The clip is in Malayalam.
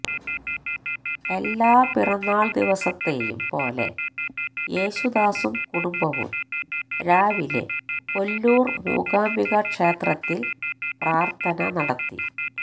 എല്ലാ പിറന്നാൾ ദിവസത്തെയും പോലെ യേശുദാസും കുടുംബവും രാവിലെ കൊല്ലൂർ മൂകാംബിക ക്ഷേത്രത്തിൽ പ്രാർത്ഥന നടത്തി